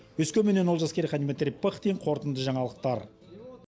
өскеменнен олжас керейхан дмитрий пыхтин қорытынды жаңалықтар